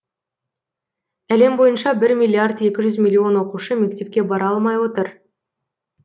әлем бойынша бір миллиард екі жүз миллион оқушы мектепке бара алмай отыр